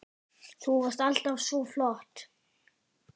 Þú varst alltaf svo flott.